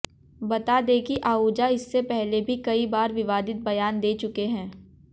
बता दें कि आहूजा इससे पहले भी कई बार विवादित बयान दे चुके हैं